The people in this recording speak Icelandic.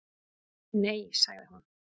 Nei, sagði hún.